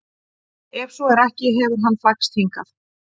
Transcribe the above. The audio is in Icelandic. Ef svo er ekki hefur hann flækst hingað?